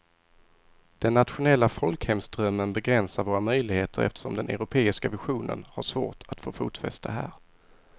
Den nationella folkhemsdrömmen begränsar våra möjligheter eftersom den europeiska visionen har svårt att få fotfäste här.